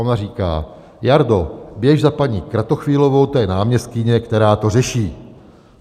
Ona říká: Jardo, běž za paní Kratochvílovou, to je náměstkyně, která to řeší.